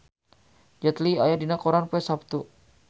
Jet Li aya dina koran poe Saptu